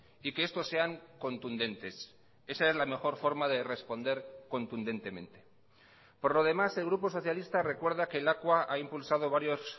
y que estos sean contundentes esa es la mejor forma de responder contundentemente por lo demás el grupo socialista recuerda que lakua ha impulsado varios